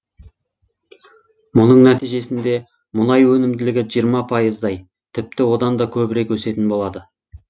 мұның нәтижесінде мұнай өнімділігі жиырма пайыздай тіпті одан да көбірек өсетін болады